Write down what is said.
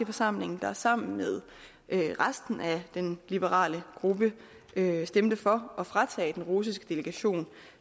forsamling der sammen med resten af den liberale gruppe stemte for at fratage den russiske delegation